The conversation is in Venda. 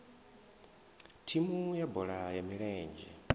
thimu ya bola ya milenzhe